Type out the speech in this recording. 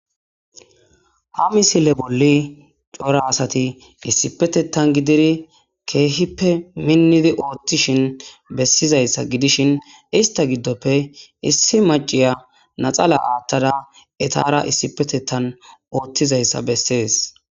Ha misile bolli coora assati issipetethani gidiri kehipe minidi othishini besizayissa... Gidishin eniti giddope issi macciya laxana athadda ettara isipetethani utidayissa bessesi